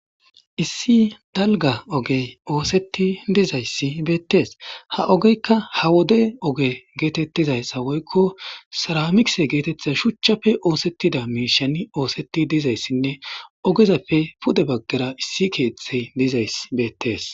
issi dalga ogey ooseti dizayssi beettees ha ogeykka ha wode oge geetettizayssa woykko saramikise geetettiza shuchchafe oosettida miishani ooseti dizayssinne ogezapfe pude baggara issi keeththey dizay beettees